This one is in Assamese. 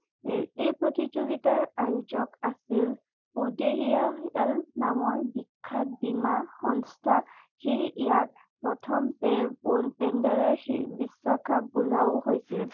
এই প্ৰতিযোগিতাৰ আয়োজক আছিল নামৰ বিখ্যাত বীমা সংস্থা সেয়ে ইয়াক প্ৰথম বিশ্বকাপ বোলাও হৈছিল